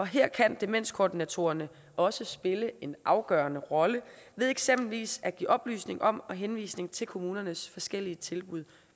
her kan demenskoordinatorerne også spille en afgørende rolle ved eksempelvis at give oplysninger om og henvisning til kommunernes forskellige tilbud